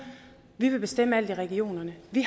vi vil bestemme alt i regionerne vi